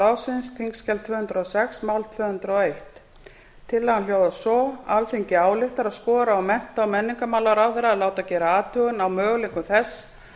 ráðsins þingskjali tvö hundruð og sex mál tvö hundruð og ein tillagan hljóðar svo þ tvö hundruð og sex alþingi ályktar að skora á mennta og menningarmálaráðherra að láta gera athugun á möguleikum þess